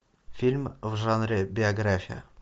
фильм в жанре биография